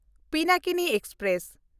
Pinakini express